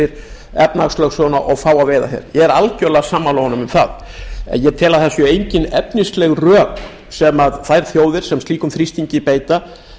fyrir efnahagslögsöguna og fá að veiða hér ég er algerlega sammála honum það en ég tel að það séu engin efnisleg rök sem þær þjóðir sem slíkum þrýstingi beita